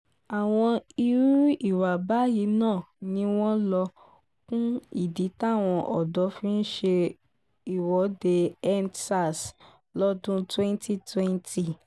àwọn irú ìwà báyìí náà ni wọ́n lọ kún ìdí táwọn ọ̀dọ́ fi ṣe ìwọ́deendsars lọ́dún 2020